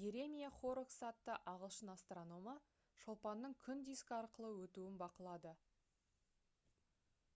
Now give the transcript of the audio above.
йеремия хоррокс атты ағылшын астрономы шолпанның күн дискі арқылы өтуін бақылады